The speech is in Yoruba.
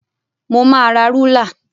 Mo máa ra rúlà.